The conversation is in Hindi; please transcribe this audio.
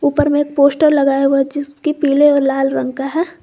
ऊपर में एक पोस्टर लगाया हुआ है जिसके पीले और लाल रंग का है।